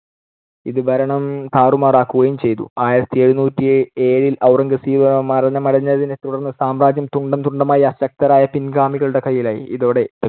ഇത് ഭരണം താറുമാറാക്കുകയും ചെയ്തു. ആയിരത്തിഎഴുനൂറ്റി ഏഴിൽ ഔറംഗസേബ് മരണമടഞ്ഞതിനെത്തുടർന്ന് സാമ്രാജ്യം തുണ്ടം തുണ്ടമായി അശക്തരായ പിൻഗാമികളുടെ കൈയിലായി. ഇതോടെ